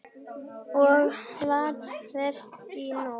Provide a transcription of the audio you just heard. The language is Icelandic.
Og hvar varstu í nótt?